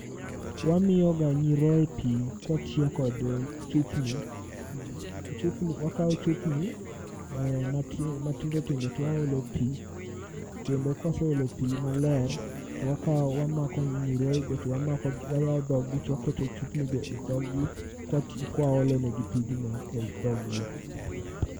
Wamiyoga nyiroye pi kwatiyo kod chupni. Wakawo chupni matindo tindo twaolo pi, kendo kwaseolo pi maler, to wakao wamako nyiroye go. To wayawo dhog gi twaketo chupni go e dhog gi kwati kwaolonegi pigno ei dhog gi.